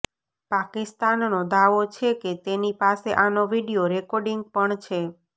પાકિસ્તાનનો દાવો છે કે તેની પાસે આનો વીડિયો રેકોર્ડિંગ પણ છે